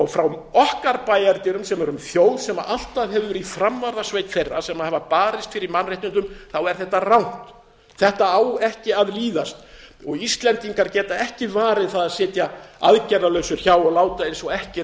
frá okkar bæjardyrum sem erum þjóð sem alltaf hefur verið í framvarðarsveit þeirra sem hafa barist fyrir mannréttindum er þetta rangt þetta á ekki að líðast íslendingar geta ekki varið það að sitja aðgerðalausir hjá og láta eins og ekkert